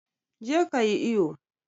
je ka yi iyo!